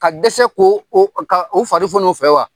Ka dɛsɛ k'o o fari foni o fɛ wa?